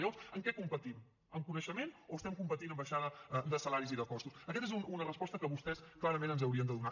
llavors en què competim en coneixement o estem competint en baixada de salaris i de costos aquesta és una resposta que vostès clarament ens haurien de donar